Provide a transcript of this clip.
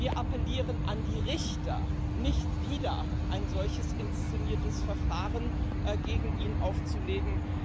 Wir appellieren an die Richter, nicht wieder ein solches inszeniertes Verfahren gegen ihn aufzulegen.